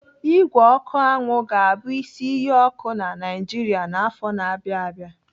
Ígwè ọkụ anwụ ga-abụ isi iyi ọkụ na Naijiria n'afọ na-abịa abịa.